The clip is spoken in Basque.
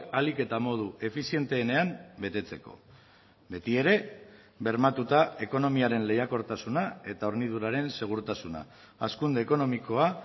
ahalik eta modu efizienteenean betetzeko beti ere bermatuta ekonomiaren lehiakortasuna eta horniduraren segurtasuna hazkunde ekonomikoa